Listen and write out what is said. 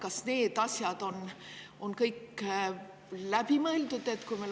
Kas need asjad on kõik läbi mõeldud?